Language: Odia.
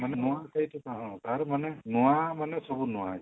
ମାନେ ମୁଁ କହୁଛି କଣ ହଁ ତାର ମାନେ ନୂଆ ମାନେ ସବୁ ନୂଆ